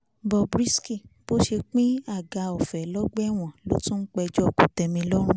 bob risky bó ṣe pín àga ọ̀fẹ́ lọ́gbà ẹ̀wọ̀n ló ń tún péjọ kòtẹ́milọ́rùn